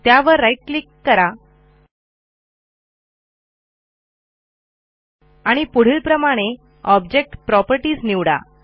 त्यावर right click करा आणि पुढील प्रमाणे ऑब्जेक्ट propertiesनिवडा